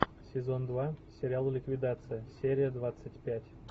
сезон два сериал ликвидация серия двадцать пять